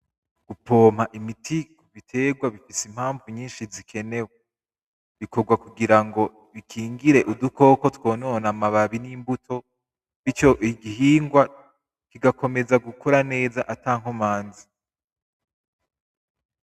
Gupompa imiti kubiterwa bifise impavu nyinshi zikenewe, bikorwa kugira ngo bikingire udukoko twonona amababi n'imbuto. Ingihingwa kigakomeza gukora neza ata nkomanzi.